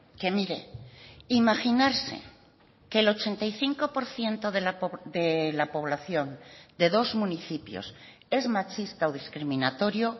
que mire imaginarse que el ochenta y cinco por ciento de la población de dos municipios es machista o discriminatorio